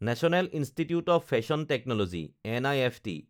national institute of fashion technology (নিফট)